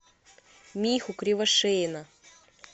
миху кривошеина